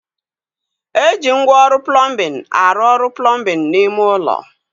Eji ngwa ọrụ plọmbin arụ ọrụ plọmbin n'ime ulo